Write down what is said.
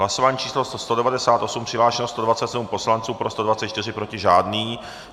Hlasování číslo 198, přihlášeno 127 poslanců, pro 124, proti žádný.